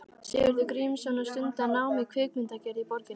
Sigurður Grímsson og stunda nám í kvikmyndagerð í borginni.